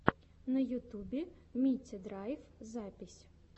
на ютюбе митя драйв запись